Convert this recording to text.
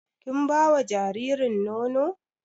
Kin ba wa jaririn nono?